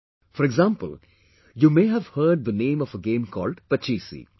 For example, you may have heard the name of a game called"Pachisi"